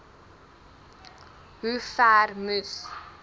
hoe ver moes